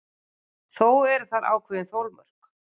Þó eru þar ákveðin þolmörk.